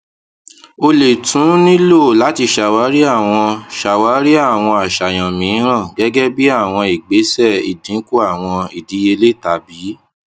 o le tun nilo lati ṣawari awọn ṣawari awọn aṣayan miiran gẹgẹbi awọn igbesẹ idinku awọn idiyele tabi